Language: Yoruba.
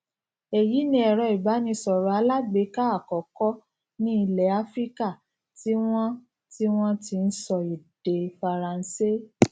wo àwòrán ti um gds ti o fihàn um òṣùwòn pàsípàrọ tuntun lórí pẹpẹ wọn ní ìsàlẹ